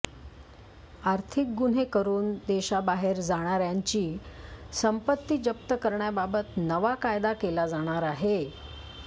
आर्थिक गुन्हे करून देशाबाहेर जाणाऱ्यांची संपत्ती जप्त करण्याबाबत नवा कायदा केला जाणार आहे